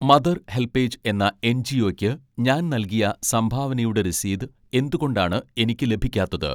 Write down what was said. Mother helpage എന്ന എൻ.ജി.ഓയ്ക്ക് ഞാൻ നൽകിയ സംഭാവനയുടെ രസീത് എന്തുകൊണ്ടാണ് എനിക്ക് ലഭിക്കാത്തത്?